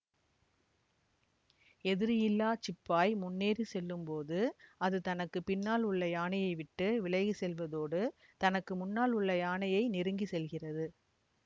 எதிரியில்லா சிப்பாய் முன்னேறி செல்லும்போது அது தனக்கு பின்னால் உள்ள யானையை விட்டு விலகிச்செல்வதோடு தனக்கு முன்னால் உள்ள யானையை நெருங்கி செல்கிறது